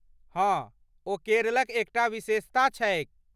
हँ, ओ केरलक एकटा विशेषता छैक।